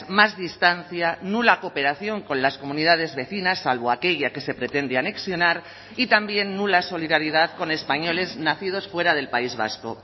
más distancia nula cooperación con las comunidades vecinas salvo aquella que se pretende anexionar y también nula solidaridad con españoles nacidos fuera del país vasco